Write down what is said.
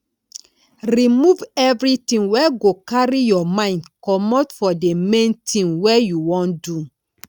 remove everything wey go carry your mind comot for the main thing wey you wan do